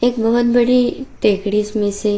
एक बहुत बड़ी टैक्रिस में से --